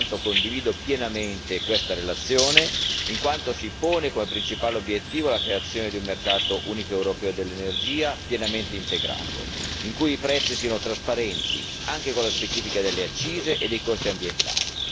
Pertanto, condivido pienamente questa relazione in quanto si pone come principale obiettivo la creazione di un mercato unico europeo dell'energia pienamente integrato, in cui i prezzi siano trasparenti, anche con la specifica delle accise e dei costi ambientali.